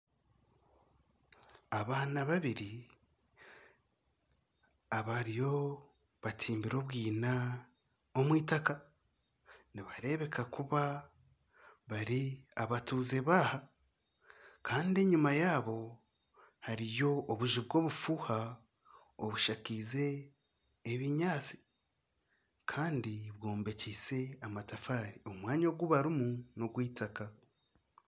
abaana babiri abariyo batimbire obwina omu itaka nibareebeka kuba bari abatuuze baaha kandi eyima yaabo hariyo obuju bw'obufuuha obushakiize obunyatsi kandi bwombekiise amatafaari omwanya ogu barimu n'ogwitaka